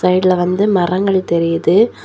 சைடுல வந்து மரங்கள் தெரியுது.